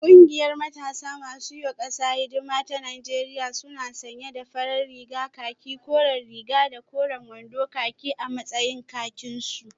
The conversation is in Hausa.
Kungiyar matasa masu yiwa kasa hidima ta Najeriya suna sanye da farar rigar khaki koren riga da koren wando khaki a matsayin kakinsu